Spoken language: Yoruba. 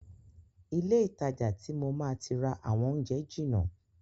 Ilé ìtajà ti mo máa ti rà àwọn oúnjẹ jìnà.